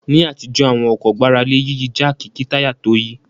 Ní àtijọ́ àwọn ọkọ̀ gbára lé Yíyí jáàkì kí táyà tó yí